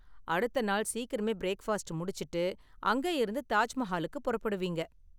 அடுத்த நாள் சீக்கிரமே பிரேக்ஃபாஸ்ட் முடிச்சுட்டு, அங்கேயிருந்து தாஜ் மஹாலுக்கு புறப்படுவீங்க.